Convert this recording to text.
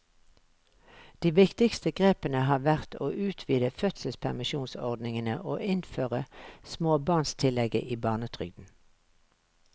De viktigste grepene har vært å utvide fødselspermisjonsordningene og innføre småbarnstillegget i barnetrygden.